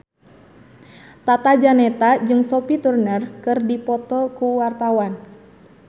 Tata Janeta jeung Sophie Turner keur dipoto ku wartawan